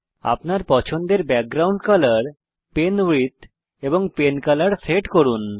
আপনার পছন্দের background colour pen width এবং পেনকোলোর সেট করুন